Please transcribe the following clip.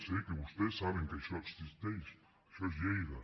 sé que vostès saben que això existeix això és lleida